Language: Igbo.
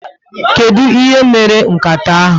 Kedu ihe mere nkata ahụ?